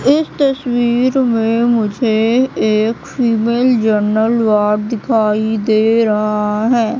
इस तस्वीर में मुझे एक फीमेल जनरल वार्ड दिखाई दे रहा है।